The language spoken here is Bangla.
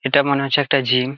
এটা মনে হচ্ছে একটা জিম ।